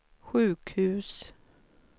sjukhus